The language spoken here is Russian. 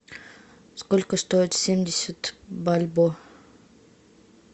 сколько стоит семьдесят бальбоа